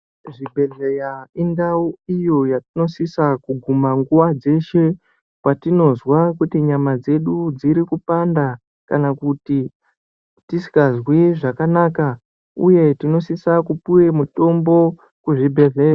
Zvibhehleya indau iyo yatinosisa kuguma nguwa dzeshe kwatinozwa kuti nyama dzedu dziri kupanda kana kuti tisikazwi zvakanaka uye tinosise kupuwe mutombo kuzvibhehleya zviripasinde nemhatso dzedu.